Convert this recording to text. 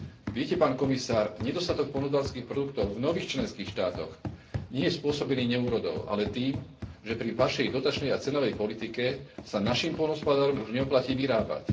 Viete, pán komisár, nedostatok poľnohospodárskych produktov v nových členských štátoch nie je spôsobený neúrodou, ale tým, že pri vašej dotačnej a cenovej politike sa našim poľnohospodárom už neoplatí vyrábať.